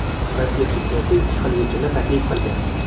Rossiya prezidenti ikki xil yechimni taklif qilgan.